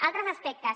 altres aspectes